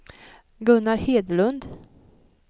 Gunnar Hedlund